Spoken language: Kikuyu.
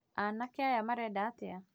Anake aya marenda atĩa?